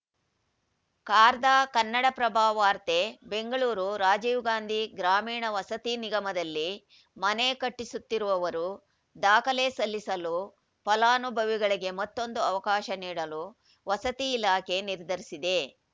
ಖಾರ್‌ದ ಕನ್ನಡಪ್ರಭ ವಾರ್ತೆ ಬೆಂಗಳೂರು ರಾಜೀವ್‌ಗಾಂಧಿ ಗ್ರಾಮೀಣ ವಸತಿ ನಿಗಮದಲ್ಲಿ ಮನೆ ಕಟ್ಟಿಸುತ್ತಿರುವವರು ದಾಖಲೆ ಸಲ್ಲಿಸಲು ಫಲಾನುಭವಿಗಳಿಗೆ ಮತ್ತೊಂದು ಅವಕಾಶ ನೀಡಲು ವಸತಿ ಇಲಾಖೆ ನಿರ್ಧರಿಸಿದೆ